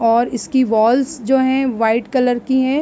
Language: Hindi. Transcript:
और इसकी वाल्स जो है व्हाइट कलर की है।